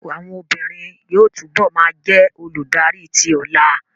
Àwọn obìnrin yóò túbọ̀ ma jẹ́ olùdarí tí ọlà